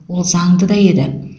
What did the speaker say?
ол заңды да еді